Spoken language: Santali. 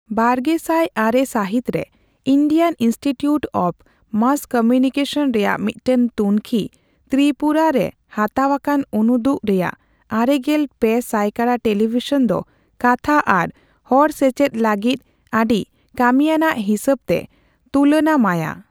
ᱵᱟᱨᱜᱮᱥᱟᱭ ᱟᱨᱮ ᱥᱟᱹᱦᱤᱛ ᱨᱮ Indian institute of mass communication ᱨᱮᱭᱟᱜ ᱢᱤᱫᱴᱮᱱ ᱛᱩᱝᱠᱷᱤ, ᱛᱤᱨᱤᱯᱩᱨᱟ ᱨᱮ ᱦᱟᱛᱟᱣ ᱟᱠᱟᱱ ᱩᱱᱩᱫᱩᱜᱠᱚ ᱨᱮᱭᱟᱜ ᱟᱨᱮᱜᱮᱞ ᱯᱮ ᱥᱟᱭᱠᱟᱲᱟ ᱴᱮᱞᱤᱵᱷᱤᱥᱚᱱ ᱫᱚ ᱠᱟᱛᱷᱟ ᱟᱨ ᱦᱚᱲᱥᱮᱪᱮᱫ ᱞᱟᱹᱜᱤᱫ ᱟᱹᱰᱤ ᱠᱟᱹᱢᱤᱟᱱᱟᱜ ᱦᱤᱥᱟᱹᱵᱛᱮ ᱛᱩᱞᱟᱹᱱᱟᱢᱟᱭᱟ ᱾